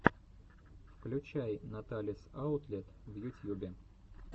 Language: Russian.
включай наталис аутлет в ютьюбе